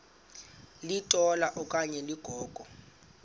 litola okanye ligogo